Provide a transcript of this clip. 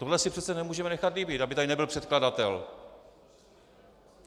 Tohle si přece nemůžeme nechat líbit, aby tady nebyl předkladatel.